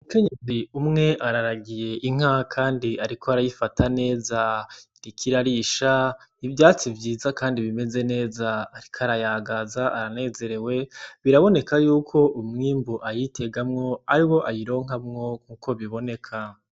Umukenyezi umwe araragiye inka kandi ariko arayifata neza iriko irarisha ivyatsi vyiza kandi bimeze neza ariko arayagaza aranezerewe biraboneka biraboneka yuko umwimbu ayitegamwo ariwo ayironkamwo uko biboneka.